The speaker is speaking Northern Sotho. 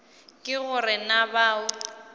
ke go re na bao